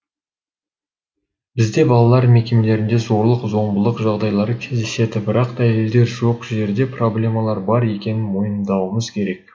бізде балалар мекемелерінде зорлық зомбылық жағдайлары кездеседі бірақ дәлелдер жоқ жерде проблемалар бар екенін мойындауымыз керек